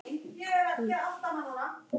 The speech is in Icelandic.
Herþrúður, hvaða vikudagur er í dag?